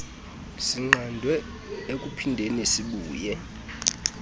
sinqandwe ekuphindeni sibuye